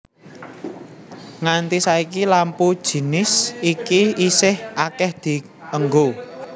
Nganti saiki lampu jinis iki isih akéh dienggo